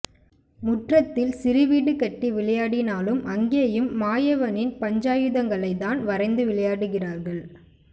முற்றத்தில் சிறுவீடு கட்டி விளையாடினாலும் அங்கே யும் மாயவனின் பஞ்சாயுதங்களைத் தான் வரைந்து விளையாடுகிறாள்